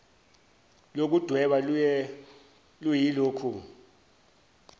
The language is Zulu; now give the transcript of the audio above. nokudweba luye luyilokhu